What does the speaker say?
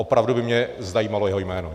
Opravdu by mě zajímalo jeho jméno.